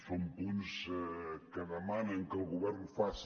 són punts que demanen que el govern faci